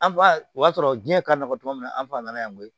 An fa o y'a sɔrɔ diɲɛ ka nɔgɔ tuma min na an fa nana yan koyi